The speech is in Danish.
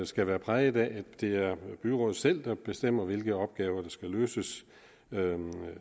skal være præget af at det er byrådet selv der bestemmer hvilke opgaver der skal løses af dem